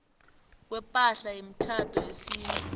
kwepahla yemitjhado yesintu